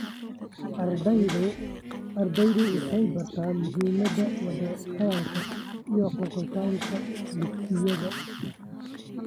Ardaydu waxay bartaan muhiimada wada hadalka iyo gorgortanka ee dugsiyada.